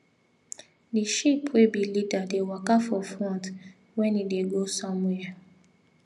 the sheep wey be leader dey waka for front when e dey go somewhere